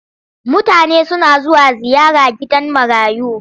Mutane suna zuwa ziyara gidan marayu.